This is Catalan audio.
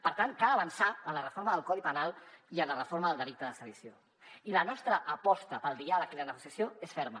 per tant cal avançar en la reforma del codi penal i en la reforma del delicte de sedició i la nostra aposta pel diàleg i la negociació és ferma